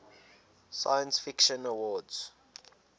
science fiction awards